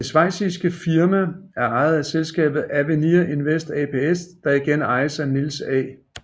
Det schweiziske firma er ejet af selskabet Avenir Invest ApS der igen ejes af Niels A